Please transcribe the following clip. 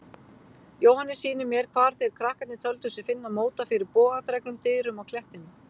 Jóhannes sýnir mér hvar þeir krakkarnir töldu sig finna móta fyrir bogadregnum dyrum á klettinum.